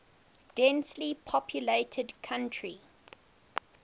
densely populated country